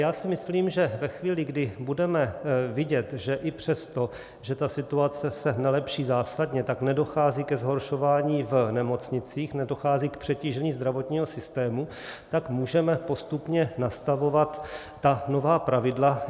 Já si myslím, že ve chvíli, kdy budeme vidět, že i přesto, že ta situace se nelepší zásadně, tak nedochází ke zhoršování v nemocnicích, nedochází k přetížení zdravotního systému, tak můžeme postupně nastavovat ta nová pravidla.